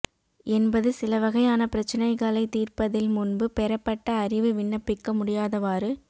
என்பது சிலவகையான பிரச்சினைகளைச் தீர்ப்பதில் முன்பு பெறப்பட்ட அறிவு விண்ணப்பிக்க முடியாதவாறு